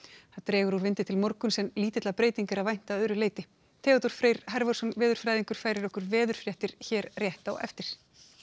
það dregur úr vindi til morguns en lítilla breytinga er að vænta að öðru leyti Theodór Freyr veðurfræðingur færir okkur veðurfréttir hér rétt á eftir